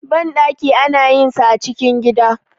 banɗaki ana yin sa a cikin gida